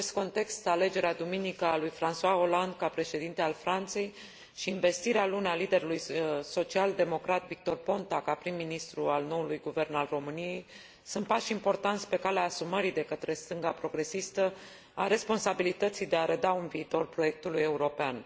În acest context, alegerea, duminică, a lui François Hollande ca președinte al Franței și învestirea, luni, a liderului social democrat, Victor Ponta, ca prim ministru al noului guvern al României sunt pași importanți pe calea asumării, de către stânga progresistă, a responsabilității de a reda un viitor Proiectului european.